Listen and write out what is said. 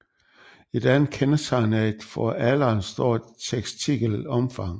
Et andet kendetegn er et for alderen stort testikelomfang